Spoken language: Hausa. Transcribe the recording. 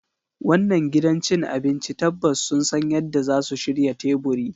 Wannan gidan cin abinci tabbas sun san yadda zasu shirya teburi